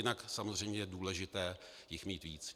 Jinak samozřejmě je důležité jich mít víc.